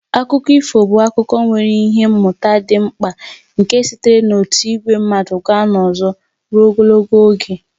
Akụkọ ifo bụ akụkọ nwere ihe mmụta dị mkpa nke sitere n'otu ìgwè mmadụ gaa n'ọzọ ruo ogologo oge.